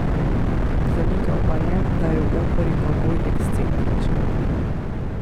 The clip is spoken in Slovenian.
Zanikal pa je, da je v operi Kogoj ekscentričen.